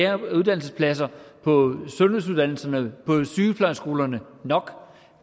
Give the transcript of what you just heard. af uddannelsespladser på sundhedsuddannelserne på sygeplejeskolerne nok